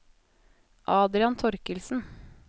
Adrian Thorkildsen